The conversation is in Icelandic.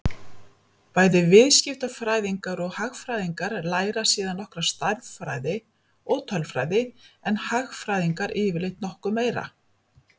Bæði viðskiptafræðingar og hagfræðingar læra síðan nokkra stærðfræði og tölfræði en hagfræðingarnir yfirleitt nokkuð meira.